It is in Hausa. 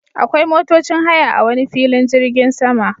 Akwai motocin haya a wane filin jirgin sama